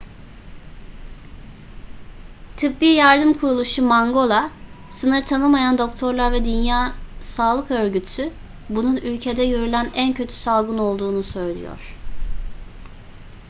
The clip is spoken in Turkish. tıbbi yardım kuruluşu mangola sınır tanımayan doktorlar ve dünya sağlık örgütü bunun ülkede görülen en kötü salgın olduğunu söylüyor